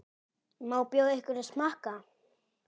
Má bjóða ykkur að smakka?